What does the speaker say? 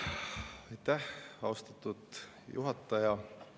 Aitäh, austatud juhataja!